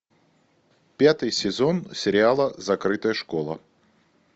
пятый сезон сериала закрытая школа